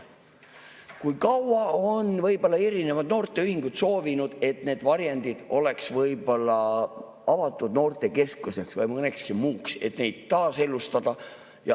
Kui kaua on erinevad noorteühingud soovinud, et see varjend oleks avatud noortekeskuseks või millekski muuks, et seda taaselustada.